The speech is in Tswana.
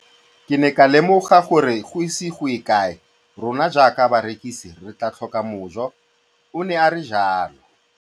Ke ne ka lemoga gore go ise go ye kae rona jaaka barekise re tla tlhoka mojo, o ne a re jalo.